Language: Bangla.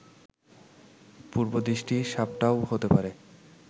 পূর্বদৃষ্ট সাপটাও হতে পারে